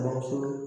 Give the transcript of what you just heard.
Bamuso